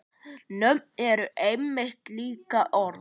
Nöfn eru einmitt líka orð.